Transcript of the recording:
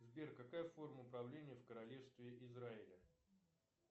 сбер какая форма управления в королевстве израиля